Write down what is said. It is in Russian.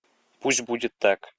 пусть будет так